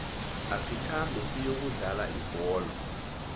asikhambe siyokudlala ibholo